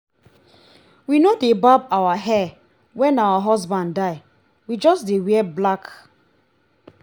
we no dey barb our hair wen our husband die we just dey wear black